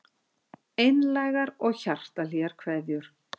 Einlægar og hjartahlýjar kveðjur